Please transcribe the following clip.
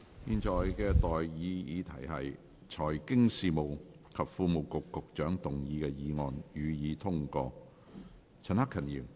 現在的待議議題是：財經事務及庫務局局長動議的議案，予以通過。